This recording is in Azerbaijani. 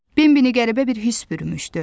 Bin binə qəribə bir hiss bürümüşdü.